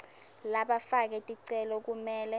labafake ticelo kumele